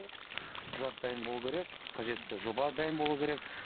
құжат дайын болу керек қажетті жоба дайын болу керек